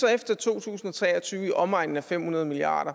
er efter to tusind og tre og tyve så i omegnen af fem hundrede milliard